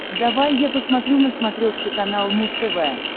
давай я посмотрю на смотрешке канал муз тв